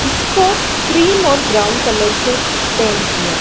इसको क्रीम और brown colour से पेंट किया--